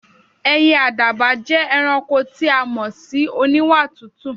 È̩yè̩ àdàbà jé̩ e̩ranko tí a sì máa mo̩ sí oníwà tútù.